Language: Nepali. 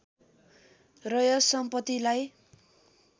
र यस सम्पतिलाई